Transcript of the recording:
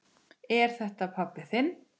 Er þetta pabbi þinn?